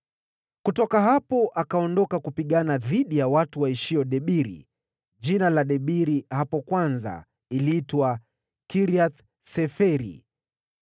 Kutoka hapo akaondoka kupigana dhidi ya watu walioishi Debiri (jina la Debiri hapo kwanza uliitwa Kiriath-Seferi).